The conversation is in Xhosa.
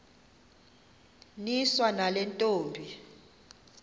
niswa nale ntombi